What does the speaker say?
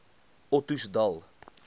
ottosdal